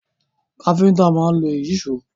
Káfíntà máa ń lo Ìyíṣòó